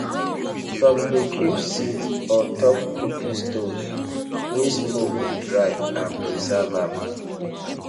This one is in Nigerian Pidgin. some dey keep seed on top cooking stoves wey smoke go dry and preserve ahm